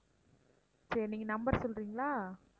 சரி நீங்க number சொல்றீங்களா?